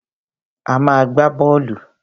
A má a gbá bọ́ọ́lù.